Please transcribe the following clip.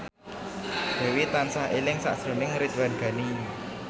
Dewi tansah eling sakjroning Ridwan Ghani